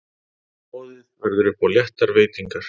Boðið verður upp á léttar veitingar.